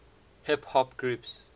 hip hop groups